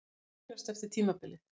Hvað mun gerast eftir tímabilið?